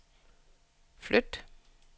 flyt